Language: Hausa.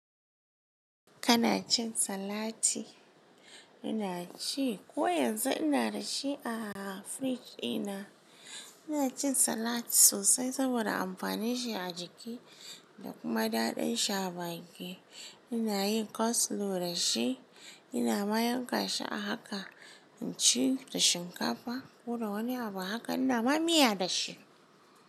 Kana cin salati? Ina ci. Ko yanzu ina da shi a fridge dina. Ina cin salat sosai saboda amfanin shi a jiki da kuma daɗin shi a baki. Ina yin coleslaw da shi, ina ma yanka shi a haka in ci da shinkafa ko da wani abu haka, ina ma miya da shi.